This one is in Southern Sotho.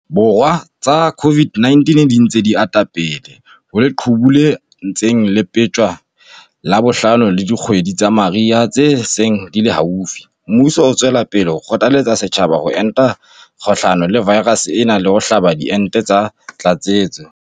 Borwa tsa COVID-19 di ntse di ata pele ho leqhubu le ntseng le leptjwa la bohlano le dikgwedi tsa mariha tse seng di le haufi, mmuso o tswela pele ho kgothaletsa setjhaba ho enta kgahlano le vaerase ena le ho hlaba diente tsa tlatsetso.